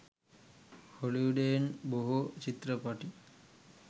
හොලිවුඩයෙන් බොහෝ චිත්‍රපටි